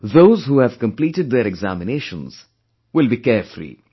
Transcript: Those who have completed their examinations, will be carefree